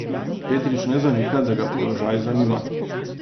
Petrič ne zanika, da ga položaj zanima.